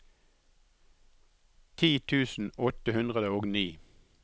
ti tusen åtte hundre og ni